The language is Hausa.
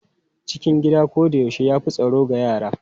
Cikin gida koyaushe ya fi tsaro ga yara.